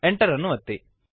Enter ಅನ್ನು ಒತ್ತಿರಿ